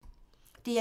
DR1